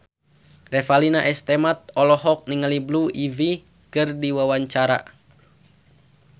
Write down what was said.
Revalina S. Temat olohok ningali Blue Ivy keur diwawancara